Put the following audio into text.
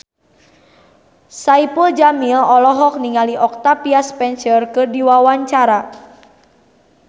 Saipul Jamil olohok ningali Octavia Spencer keur diwawancara